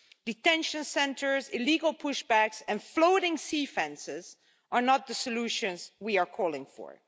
Detention centres, illegal push backs and floating sea fences are not the solutions we are calling for.